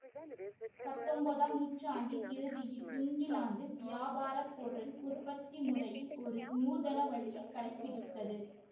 பத்தொன்பதாம் நூற்றாண்டின் இறுதியில் இங்கிலாந்து வியாபார பொருள் உற்பத்தி முறையில் ஒரு நூதன வழியை கடைபிடித்தது